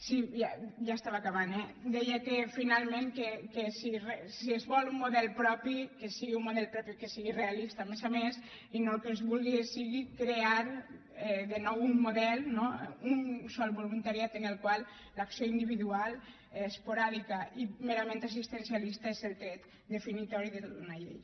sí ja estava acabant eh deia finalment que si es vol un model propi que sigui un model propi que sigui realista a més a més i no el que es vulgui sigui crear de nou un model un sol voluntariat en el qual l’acció individual esporàdica i merament assistencialista és el tret definitori d’una llei